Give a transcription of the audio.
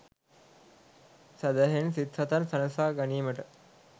සැදැහැයෙන් සිත් සතන් සනසා ගැනීමට